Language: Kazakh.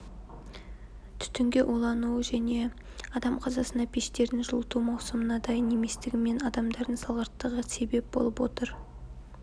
түтінге улану мен адам қазасына пештердің жылыту маусымына дайын еместігі мен адамдардың салғырттығы себеп болып отыр